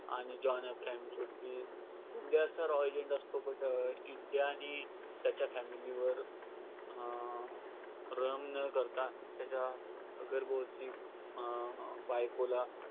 आणि जॉन अब्राहमच्या की इंडियाचा raw agent असतो. पण इंडियाने त्याच्या family वर अं न करता त्याच्या गर्भवती अं बायकोला